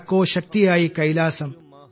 വടക്കോ ശക്തിയായി കൈലാസം